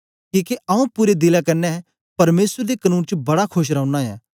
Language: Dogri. किके आंऊँ पूरे दिले कन्ने परमेसर दे कनून च बड़ा खोश रौना ऐं